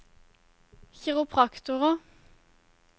kiropraktorer